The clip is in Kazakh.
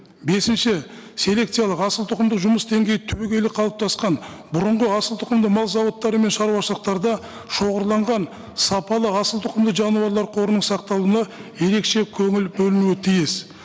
бесінші селекциялық асылтұқымды жұмыс деңгейі түбегейлі қалыптасқан бұрынғы асылтұқымды мал зауыттары мен шаруашылықтарда щоғырланған сапалы асылтұқымды жануарлар қорының сақталуына ерекше көңіл бөлінуі тиіс